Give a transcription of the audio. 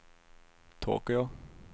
Tokyo